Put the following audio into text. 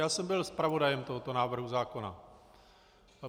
Já jsem byl zpravodajem tohoto návrhu zákona.